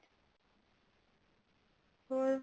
ਹੋਰ